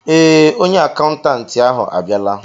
Ee, onye akaụntantị ahụ abịala.